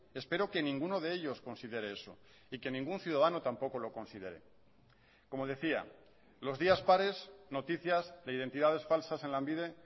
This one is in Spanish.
espero que ninguno de ellos considere eso y que ningún ciudadano tampoco lo considere como decía los días pares noticias de identidades falsas en lanbide